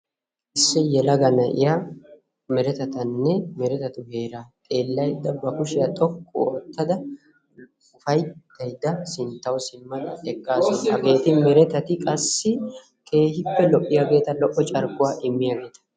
issi yelaga na'iyaa meretatanne meretatu heeraa xeellaydda ba kuushiyaa xooqqu oottada ufayttayda sinttawu simmada eeqqaasu. hageeti merettati qassi keehippe lo'iyaageta lo"o carkkuwaa immiyaageta.